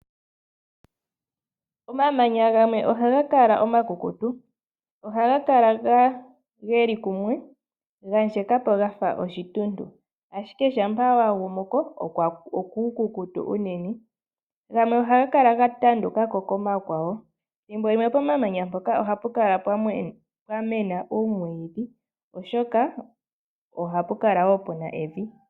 Omamanya gamwe ohaga kala omakukutu. Ohaga kala ge li kumwe, ga ndjeka po ga fa oshituntu, ashike shampa wa gumu ko okuukukutu unene. Gamwe ohaga kala ga tanduka ko komakwawo. Thimbo limw pomamanya mpoka ohapu kala pwa mena uumwiidhi oshoka ohapu kala wo pu na evi.